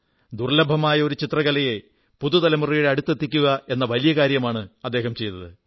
ദുർല്ലഭമായ ഒരു ചിത്രകലയെ പുതുതലമുറയുടെ അടുത്തെത്തിക്കയെന്ന വലിയ കാര്യമാണു ചെയ്തത്